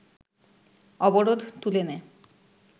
অবরোধ তুলে নেয়